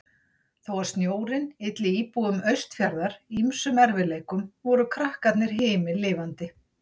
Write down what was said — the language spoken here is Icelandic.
Þó að snjórinn ylli íbúum Austurfjarðar ýmsum erfiðleikum voru krakkarnir himinlifandi.